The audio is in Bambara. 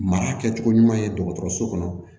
Mara kɛcogo ɲuman ye dɔgɔtɔrɔso kɔnɔ